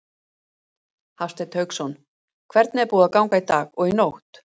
Hafsteinn Hauksson: Hvernig er búið að ganga í dag og í nótt?